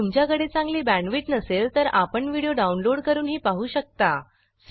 जर तुमच्याकडे चांगली बॅण्डविड्थ नसेल तर आपण व्हिडिओ डाउनलोड करूनही पाहू शकता